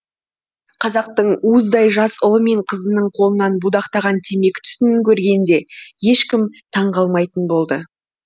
қазақтың уыздай жас ұлы мен қызының қолынан будақтаған темекі түтінін көргенде ешкім таң қалмайтын болды